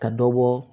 Ka dɔ bɔ